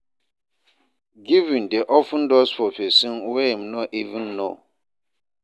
Giving dey open doors for pesin wey im no even know